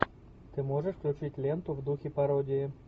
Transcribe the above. ты можешь включить ленту в духе пародии